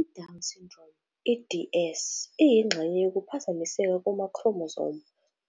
I-Down Syndrome, i-DS, iyingxenye yokuphazamiseka kuma-chromosome